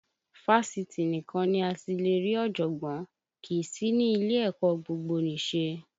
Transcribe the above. Fásitì nìkan ni a ti lè rí ọ̀jọ̀gbọ́n, kì í sí ní ilé ẹ̀kọ́ gbogbonise